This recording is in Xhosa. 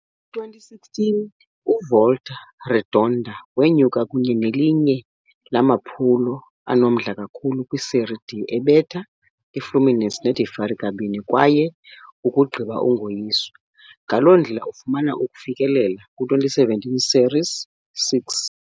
Kwi-2016, uVolta Redonda wenyuka kunye nelinye lamaphulo anomdla kakhulu kwi-Série D, ebetha i-Fluminense de Feira kabini kwaye ukugqiba ungoyiswa, ngaloo ndlela ufumana ukufikelela kwi-2017 Série C.